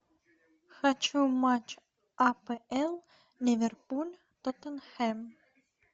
хочу матч апл ливерпуль тоттенхэм